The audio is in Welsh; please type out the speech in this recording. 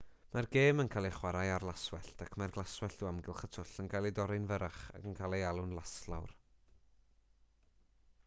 mae'r gêm yn cael ei chwarae ar laswellt ac mae'r glaswellt o amgylch y twll yn cael ei dorri'n fyrrach ac yn cael ei alw'n laslawr